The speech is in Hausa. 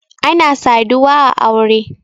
ana saduwa a aure